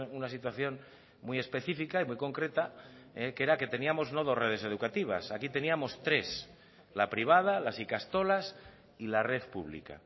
una situación muy específica y muy concreta que era que teníamos no dos redes educativas aquí teníamos tres la privada las ikastolas y la red pública